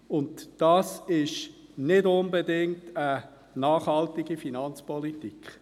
Dies ist nicht unbedingt eine nachhaltige Finanzpolitik.